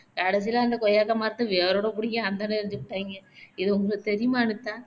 கடைசியிலே அந்த கொய்யாக்காய் மரத்த வேரோட பிடிங்கி அந்தாண்ட எரிஞ்சுப்புட்டாங்கே இது உங்களுக்கு தெரியுமா அனிதா